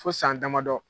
Fo san damadɔ